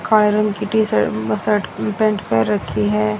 काले रंग की टी शर्ट शर्ट पैंट पहन रखी है।